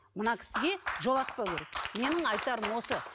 мына кісіге жолатпау керек менің айтарым осы